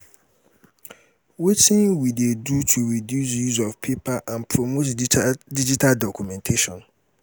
wetin we dey do to reduce use of paper and promote digital documentation?